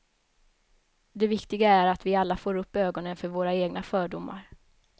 Det viktiga är att vi alla får upp ögonen för våra egna fördomar.